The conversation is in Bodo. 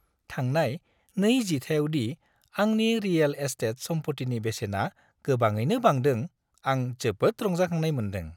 थांनाय 2 जिथाइयाव दि आंनि रियेल एस्टेट सम्पथिनि बेसेना गोबाङैनो बांदों, आं जोबोद रंजाखांनाय मोनदों।